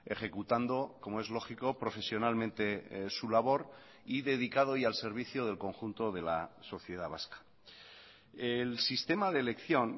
ejecutando como es lógico profesionalmente su labor y dedicado y al servicio del conjunto de la sociedad vasca el sistema de elección